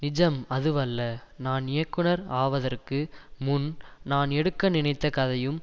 நிஜம் அதுவல்ல நான் இயக்குனர் ஆவதற்கு முன் நான் எடுக்க நினைத்த கதையும்